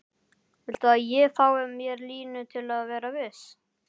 Viltu að ég fái mér línu til að vera viss?